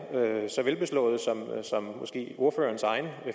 er så velbeslåede som ordførerens egen